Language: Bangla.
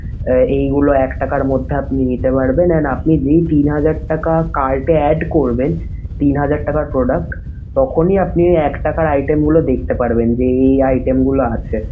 আহ এইগুলো এক টাকার মধ্যে আপনি নিতে পারবেন। And আপনি যেই তিন হাজার টাকা cart এ add করবেন তিন হাজার টাকার product, তখন ই আপনি এক টাকার item গুলো দেখতে পারবেন যে এই এই item গুলো আছে।